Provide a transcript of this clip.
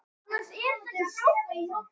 Þinn litli bróðir, Árni.